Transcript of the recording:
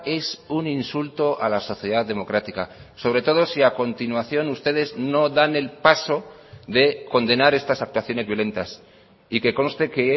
es un insulto a la sociedad democrática sobre todo si a continuación ustedes no dan el paso de condenar estas actuaciones violentas y que conste que